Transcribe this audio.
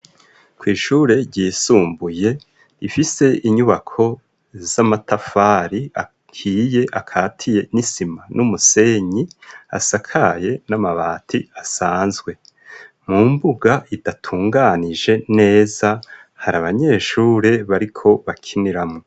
Kw' Ishure ryisumbuye, rifise inyubako z'amatafari ahiye ,akatiye n'isima n'umusenyi, asakaye n'amabati asanzwe, mu mbuga idatunganije neza, hari Abanyeshure bariko, bakiniramwo.